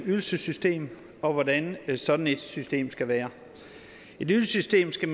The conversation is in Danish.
ydelsessystem og hvordan sådan et system skal være et ydelsessystem skal